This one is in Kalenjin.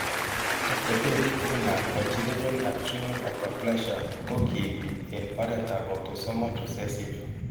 Atepet tugulap congenital adrenal hyperplasia ko kiinti eng' oretap autosomal recessive.